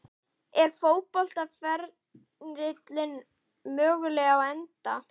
Er fótboltaferillinn mögulega á enda?